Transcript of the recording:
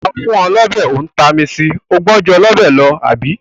A fún ọ lọ́bẹ, ó tami sì, ó gbọn ju ọlọ́bẹ̀ lọ, àbí?